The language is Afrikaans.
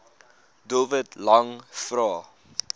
doelwit lang vrae